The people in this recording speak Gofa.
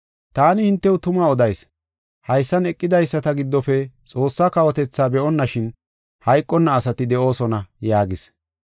Ta hintew tuma odayis; haysan eqidaysata giddofe Xoossaa kawotethaa be7onnashin hayqonna asati de7oosona” yaagis.